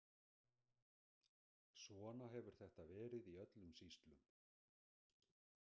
Svona hefur þetta verið í öllum sýslum.